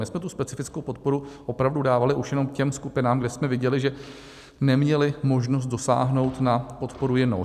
My jsme tu specifickou podporu opravdu dávali už jenom těm skupinám, kde jsme viděli, že neměly možnost dosáhnout na podporu jinou.